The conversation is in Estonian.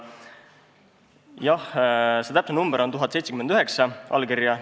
Jah, see täpne number on 1079 allkirja.